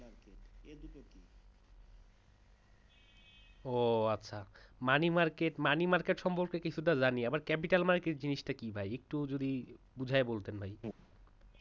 ও আচ্ছা। money market money market সম্বন্ধে কিছুটা জানি capital market জিনিস টা কি একটু যদি ভাই বুঝাইয়া বলতেন?